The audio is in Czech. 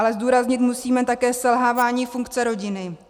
Ale zdůraznit musíme také selhávání funkce rodiny.